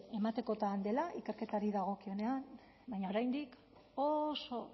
ematekotan dela ikerketari dagokionean baina oraindik oso